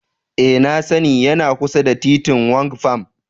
Ee nmna sani, yana kusa da titin Rwang Pam.